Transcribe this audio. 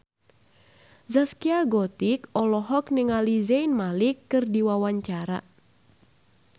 Zaskia Gotik olohok ningali Zayn Malik keur diwawancara